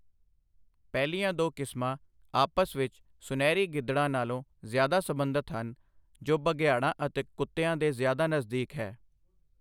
ਪਹਿਲੀਆਂ ਦੋ ਕਿਸਮਾਂ ਆਪਸ ਵਿੱਚ ਸੁਨਹਿਰੀ ਗਿੱਦੜਾਂ ਨਾਲੋਂ ਜ਼ਿਆਦਾ ਸਬੰਧਤ ਹਨ ਜੋ ਬਘਿਆੜਾਂ ਅਤੇ ਕੁੱਤਿਆਂ ਦੇ ਜ਼ਿਆਦਾ ਨਜ਼ਦੀਕ ਹੈ।